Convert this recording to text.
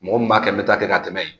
Mɔgɔ min b'a kɛ n bɛ taa kɛ ka tɛmɛ yen